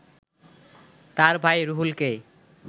তার ভাই রুহুলকে